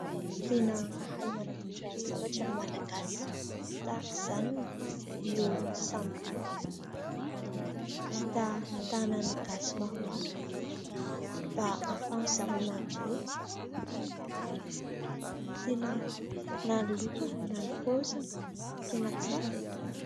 Tena mahay manamboatra zavatra ny Malagasy tahaka izany io sambo io, vita tanan'ny Gasy maromaro mba ahafahan'zareo manjono, tena na ny lokony na ny paoziny tena tsara e!